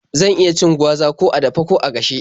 Za a iya cin gwaza ko a dafe ko a gashe.